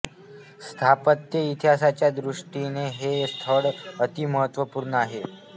स्थापत्य इतिहासाच्या दृष्टि ने हे स्थळ अति महत्त्वपूर्ण आहे